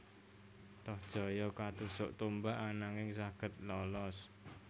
Tohjaya katusuk tombak ananging saged lolos